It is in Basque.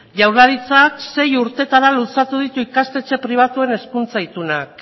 jaurlaritzak sei urteetara luzatu ditu ikastetxe pribatuen hizkuntza itunak